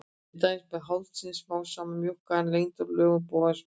Til dæmis var hálsinn smám saman mjókkaður og lengdur og lögun bogans var breytt.